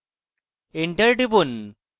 enter টিপুন